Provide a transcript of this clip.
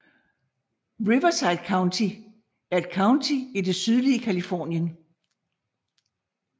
Riverside County er et county i det sydlige Californien